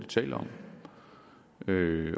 til at løse